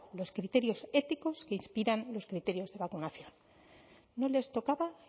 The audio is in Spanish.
los criterios éticos que inspiran los criterios de vacunación no les tocaba